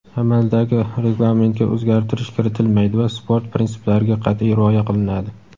amaldagi reglamentga o‘zgartirish kiritilmaydi va sport prinsiplariga qatʼiy rioya qilinadi.